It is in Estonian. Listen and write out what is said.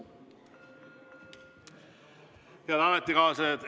Head ametikaaslased!